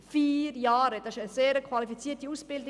Vier Jahre: Das ist eine sehr qualifizierte Ausbildung.